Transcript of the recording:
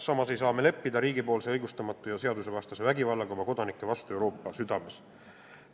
Ühtlasi ei saa me leppida õigustamata ja seadusevastase vägivallaga, mida riik oma kodanike vastu Euroopa südames kasutab.